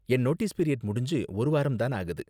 என் notice period முடிஞ்சு ஒரு வாரம் தான் ஆகுது.